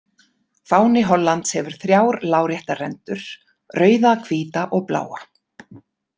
Fáni Hollands hefur þrjár láréttar rendur, rauða, hvíta og bláa.